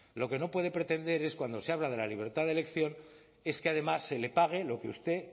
lo que no puede pretender es cuando se habla de la libertad de elección es que además se le pague lo que usted